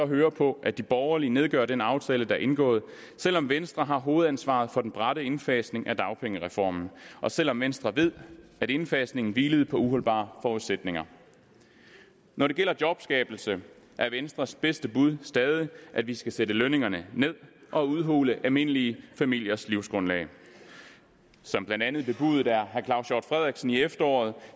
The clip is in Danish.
høre på at de borgerlige nedgør den aftale der er indgået selv om venstre har hovedansvaret for den bratte indfasning af dagpengereformen og selv om venstre ved at indfasningen hvilede på uholdbare forudsætninger når det gælder jobskabelse er venstres bedste bud stadig at vi skal sætte lønningerne ned og udhule almindelige familiers livsgrundlag som blandt andet bebudet af herre claus hjort frederiksen i efteråret